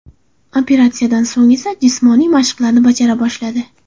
Operatsiyadan so‘ng esa jismoniy mashqlarni bajara boshladi.